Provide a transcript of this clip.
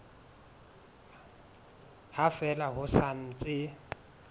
ha fela ho sa ntse